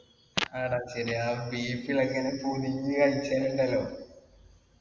ആടാ ശരിയാ ആ beef ല്‍ ഒക്കെ